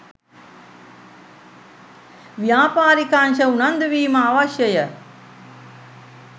ව්‍යාපාරික අංශ උනන්දුවීම අවශ්‍යය.